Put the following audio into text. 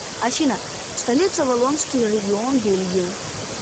афина столица валлонский регион бельгии